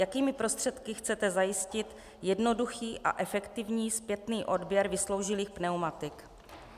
Jakými prostředky chcete zajistit jednoduchý a efektivní zpětný odběr vysloužilých pneumatik?